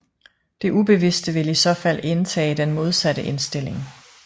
Det ubevidste vil i så fald indtage den modsatte indstilling